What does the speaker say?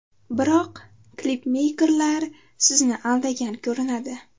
Biroq klipmeykerlar sizni aldagan ko‘rinadi?